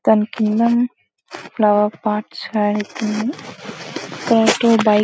దాని కింద flower pots --]